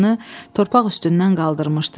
Başını torpaq üstündən qaldırmışdı.